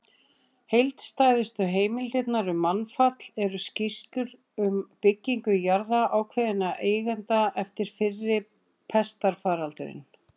Heildstæðustu heimildirnar um mannfall eru skýrslur um byggingu jarða ákveðinna eigenda eftir fyrri pestarfaraldurinn.